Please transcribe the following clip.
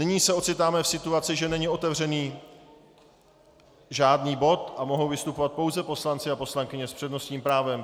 Nyní se ocitáme v situaci, že není otevřený žádný bod a mohou vystupovat pouze poslanci a poslankyně s přednostním právem.